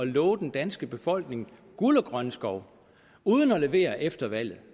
love den danske befolkning guld og grønne skove uden at levere efter valget